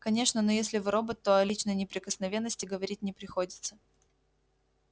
конечно но если вы робот то о личной неприкосновенности говорить не приходится